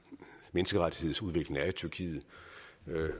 menneskerettighedsudviklingen er i tyrkiet